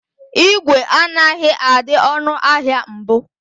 ígwè anaghị adị ọnụ ahịa mbụ.